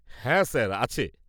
হ্যাঁ, স্যার, আছে।